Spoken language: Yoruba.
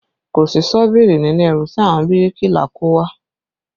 Kò sí ṣọ́bìrì nínú ẹrù tí àwọn bíríkìlà kó wá